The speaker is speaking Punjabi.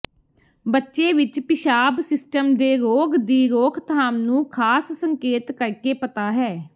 ਬੱਚੇ ਵਿਚ ਪਿਸ਼ਾਬ ਸਿਸਟਮ ਦੇ ਰੋਗ ਦੀ ਰੋਕਥਾਮ ਨੂੰ ਖਾਸ ਸੰਕੇਤ ਕਰਕੇ ਪਤਾ ਹੈ